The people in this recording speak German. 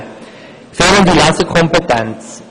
Die fehlende Lesekompetenz.